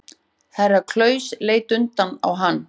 Herra Klaus leit undrandi á hann.